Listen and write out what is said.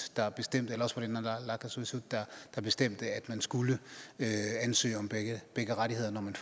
eller også var det naalakkersuisut der selv bestemte at man skulle ansøge om begge rettigheder når man